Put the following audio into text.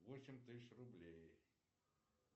восемь тысяч рублей